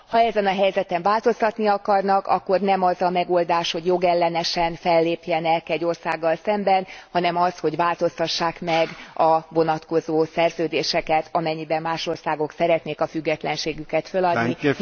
Ha ezen a helyzeten változtatni akarnak, akkor nem az a megoldás, hogy jogellenesen fellépjenek egy országgal szemben, hanem az, hogy változtassák meg a vonatkozó szerződéseket, amennyiben más országok szeretnék a függetlenségüket feladni.